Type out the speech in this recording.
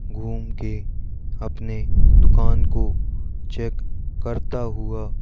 घूम के अपने दुकान को चेक करता हुआ--